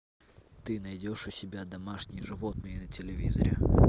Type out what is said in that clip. ты найдешь у себя домашние животные на телевизоре